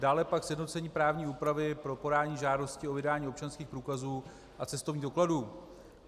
Dále pak sjednocení právní úpravy pro podání žádosti o vydání občanských průkazů a cestovních dokladů.